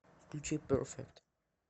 включи перфект